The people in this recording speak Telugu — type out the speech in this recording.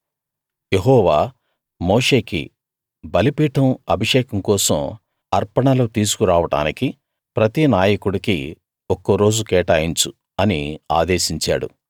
యెహోవా మోషేకి బలిపీఠం అభిషేకం కోసం అర్పణలు తీసుకు రావడానికి ప్రతి నాయకుడికీ ఒక్కో రోజు కేటాయించు అని ఆదేశించాడు